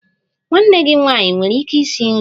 Nwanne gị nwanyị enwere ike isi nri?